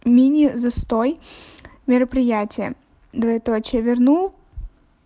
мини застой мероприятия двоеточие верну